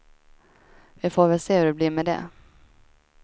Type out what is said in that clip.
Vi får väl se hur det blir med det.